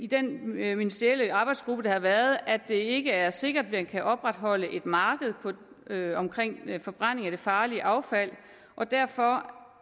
den ministerielle arbejdsgruppe der har været nedsat at det ikke er sikkert at man kan opretholde et marked for forbrænding af farligt affald og derfor